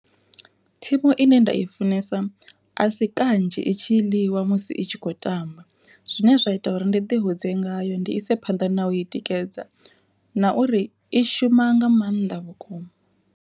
Thimu ine nda i funesa a si kanzhi itshi ḽiwa musi itshi kho tamba, zwine zwa ita uri ndi ḓi hudze ngayo ndi ise phanḓa na u i tikedza, na uri i shuma nga maanḓa vhukuma.